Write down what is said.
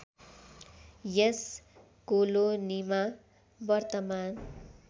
यस कोलोनीमा वर्तमान